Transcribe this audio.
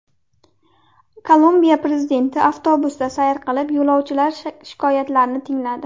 Kolumbiya prezidenti avtobusda sayr qilib, yo‘lovchilar shikoyatlarini tingladi.